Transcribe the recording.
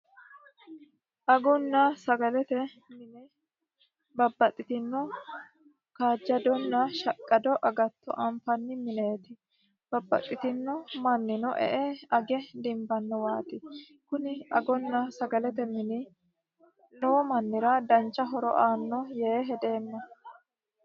agunna sagalete mine babbaxitino shaqqadonna kaajjado agatto anfanni mineeti babbaxitino mannino e''e age dimbannowaati, kuni agunna sagalete mini lowo mannira dancha horo aanno yee hedeemma.